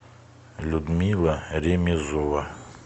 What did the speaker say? людмила ремезова